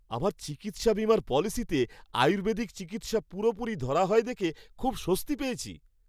আমার চিকিৎসা বিমার পলিসিতে আয়ুর্বেদিক চিকিৎসা পুরোপুরি ধরা হয় দেখে খুব স্বস্তি পেয়েছি।